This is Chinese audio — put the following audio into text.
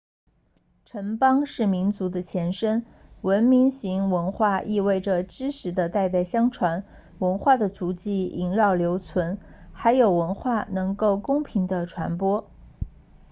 城邦是民族的前身文明型文化意味着知识的代代相传文化的足迹萦绕留存还有文化能够公平地传播